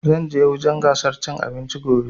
Zan je wurin gasar cin abinci gobe